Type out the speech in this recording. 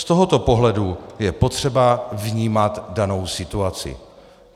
Z tohoto pohledu je potřeba vnímat danou situaci.